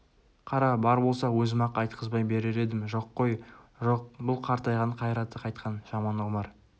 қара бар болса өзім-ақ айтқызбай берер едім жоқ қой жоқ бұл қартайған қайраты қайтқан жаман омар